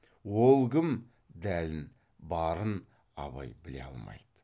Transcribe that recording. ол кім дәлін барын абай біле алмайды